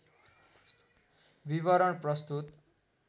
विवरण प्रस्तुत